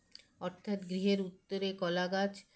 অর্থাৎ গৃহের উত্তরে কলাগাছ